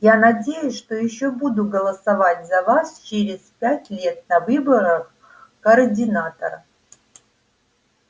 я надеюсь что ещё буду голосовать за вас через пять лет на выборах координатора